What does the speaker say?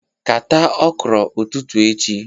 Kata okro ututu echi